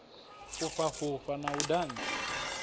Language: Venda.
fhufha fhufha na u dantsa